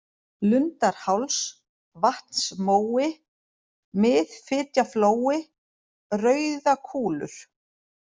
Lundarháls, Vatnsmói, Miðfitjaflói, Rauðakúlur